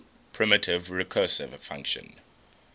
primitive recursive function